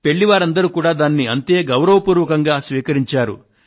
పెళ్ళివారందరూ కూడా దానిని అంతే గౌరవపూర్వకంగా స్వీకరించారు